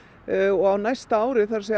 og á næsta ári